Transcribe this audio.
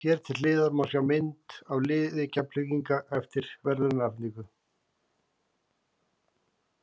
Hér til hliðar má sjá mynd af liði Keflvíkinga eftir verðlaunaafhendingu.